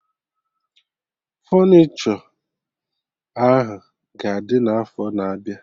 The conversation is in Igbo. Fọnichọ ahụ ga-adị na afọ na abịa